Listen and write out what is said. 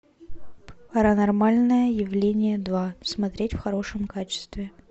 паранормальное явление два смотреть в хорошем качестве